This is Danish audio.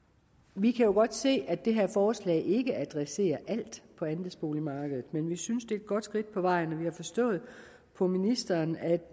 vi kan godt se at det her forslag ikke adresserer alt på andelsboligmarkedet men vi synes at det er et godt skridt på vejen og vi har forstået på ministeren at